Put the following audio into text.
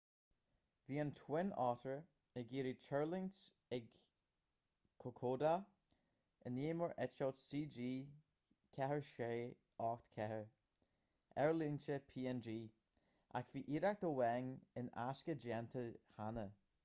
bhí an twin otter ag iarraidh tuirlingt ag kokoda inné mar eitilt cg4684 aerlínte png ach bhí iarracht amháin in aisce déanta cheana